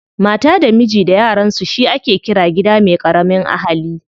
Mata da miji da yaransu shi ake ƙira gida me ƙaramin ahali.